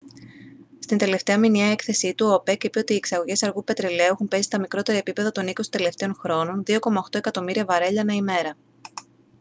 στην τελευταία μηνιαία έκθεσή του ο οπεκ είπε ότι οι εξαγωγές αργού πετρελαίου έχουν πέσει στα μικρότερα επίπεδα των είκοσι τελευταίων χρόνων 2.8 εκατομμύρια βαρέλια ανά ημέρα